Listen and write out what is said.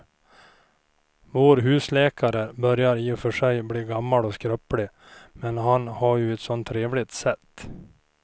Vår husläkare börjar i och för sig bli gammal och skröplig, men han har ju ett sådant trevligt sätt!